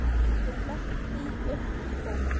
Ég fletti því upp í bók.